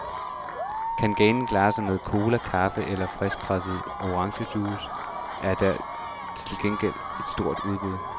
Kan ganen klare sig med cola, kaffe eller friskpresset orangejuice, er der til gengæld et stort udbud.